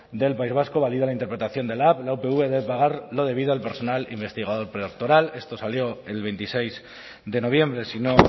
del país vasco valida la interpretación de lab la upv debe pagar lo debido al personal investigador predoctoral esto salió el veintiséis de noviembre si no